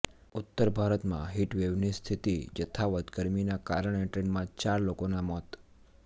ઉત્તર ભારતમાં હીટવેવની સ્થિતિ યથાવત ગરમીના કારણે ટ્રેનમાં ચાર લોકોના મોત